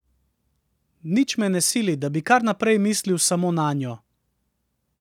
Nič me ne sili, da bi kar naprej mislil samo nanjo.